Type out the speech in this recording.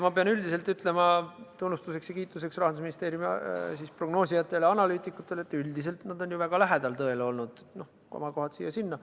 Ma pean tunnustuseks ja kiituseks Rahandusministeeriumi prognoosijatele ja analüütikutele ütlema, et üldiselt on nad ju tõele väga lähedal olnud, komakohad siia-sinna.